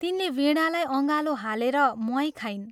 तिनले वीणालाई अँगालो हालेर म्वाइँ खाइन्।